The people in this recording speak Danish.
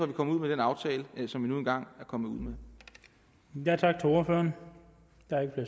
vi kommet ud med den aftale som vi nu engang er kommet ud med